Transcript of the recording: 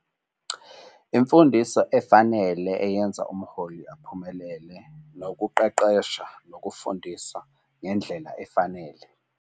Imfundiso efanele eyenza umholi aphumelele nokuqeqesha nokufundisa ngendlela efanele.